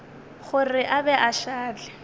gore a be a šale